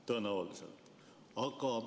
Tõenäoliselt.